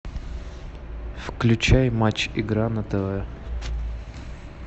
включай матч игра на тв